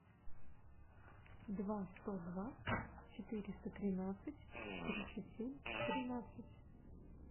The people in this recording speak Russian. два сто два четыреста тринадцать тридцать семь тринадцать